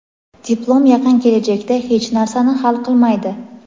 Diplom yaqin kelajakda hech narsani hal qilmaydi.